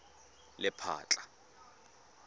lephatla